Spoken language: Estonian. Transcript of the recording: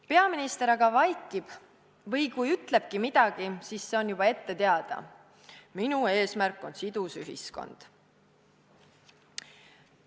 Peaminister aga vaikib või kui ütlebki midagi, siis see on juba ette teada: "Minu eesmärk on sidus ühiskond.